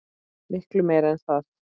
Miklu meira en það.